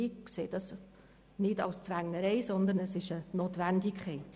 Ich sehe das nicht als Zwängerei, sondern als Notwendigkeit.